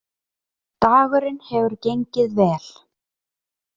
Dagurinn hefur gengið vel